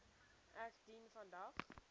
ek dien vandag